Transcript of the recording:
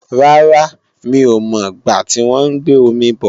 Rárá, mí ò mọ̀ gbá tí wọ́n ń gbé omi bò